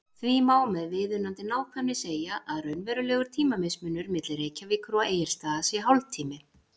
Því má með viðunandi nákvæmni segja að raunverulegur tímamismunur milli Reykjavíkur og Egilsstaða sé hálftími.